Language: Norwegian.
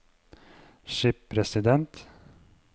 skipresident